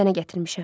Sənə gətirmişəm.